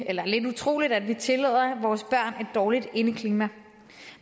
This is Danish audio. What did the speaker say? er lidt utroligt at vi tillader vores børn dårligt indeklima